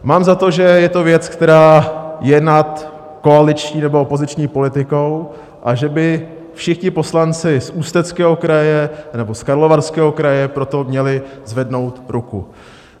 Mám za to, že to je věc, která je nad koaliční nebo opoziční politikou, a že by všichni poslanci z Ústeckého kraje nebo z Karlovarského kraje pro to měli zvednout ruku.